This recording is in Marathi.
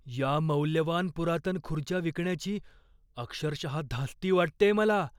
या मौल्यवान पुरातन खुर्च्या विकण्याची अक्षरशः धास्ती वाटतेय मला.